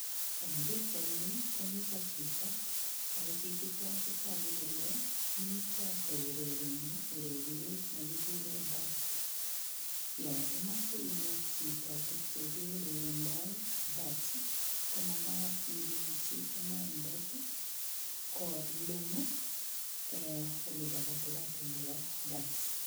Eng pikchaini komito chito ako chichito ko toku kole mito kourereni ureriet ne kikure darts, yo imoche inet chito tug che kiurerendoi darts ii, ko makat ilechi inendet ii, kolum ii um olibo katikati nebo darts.